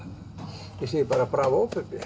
ég segi bara bravó Bubbi